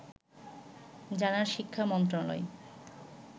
জানায় শিক্ষা মন্ত্রণালয়